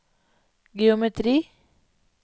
geometri